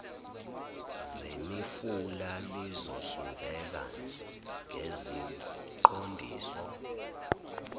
zemifula lizohlinzeka ngeziqondiso